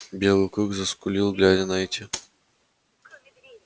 белый клык заскулил глядя на эти